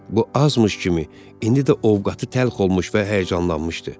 Bu azmış kimi indi də ovqatı təlx olmuş və həyəcanlanmışdı.